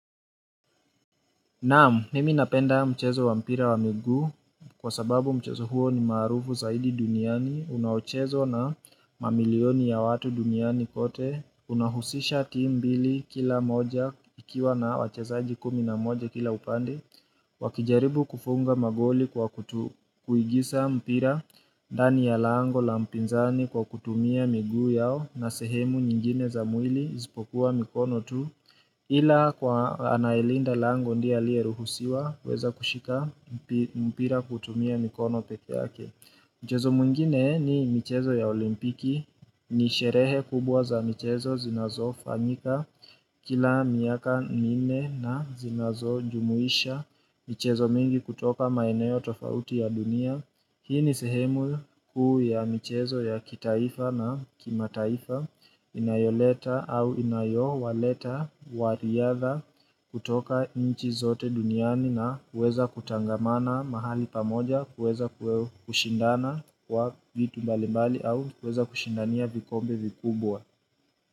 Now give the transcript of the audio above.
Naam, nimi napenda mchezo wa mpira wa miguu kwa sababu mchezo huo ni maarufu zaidi duniani, unaochezwa na mamilioni ya watu duniani kote, unahusisha timu mbili kila moja ikiwa na wachezaji kumi na moja kila upande, Wakijaribu kufunga magoli kwa kuingiza mpira ndani ya lango la mpinzani kwa kutumia miguu yao na sehemu nyingine za mwili isipokuwa mikono tu Ila kwa anayelinda lango ndiye aliyeruhusiwa kuweza kushika mpira kutumia mikono pekeyake Mchezo mwingine ni michezo ya olimpiki ni sherehe kubwa za michezo zinazo fanyika kila miaka minne na zinazo jumuisha michezo mingi kutoka maeneo tofauti ya dunia. Hii ni sehemu kuu ya michezo ya kitaifa na kima taifa inayoleta au inayowaleta wariadha kutoka nchi zote duniani na kuweza kutangamana mahali pamoja kuweza kushindana kwa vitu mbali mbali au kuweza kushindania vikombe vikubwa.